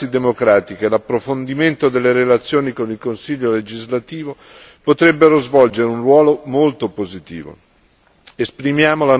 Gli scambi sulle prassi democratiche e l'approfondimento delle relazioni con il Consiglio legislativo potrebbero svolgere un ruolo molto positivo.